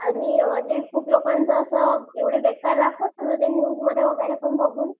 आणि जे खूप लोकांचे असं एवढे बेकार न्यूजमध्ये वगैरे बघून